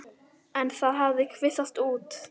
En það hafi kvisast út.